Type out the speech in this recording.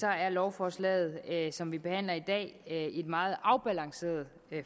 er lovforslaget som vi behandler i dag et meget afbalanceret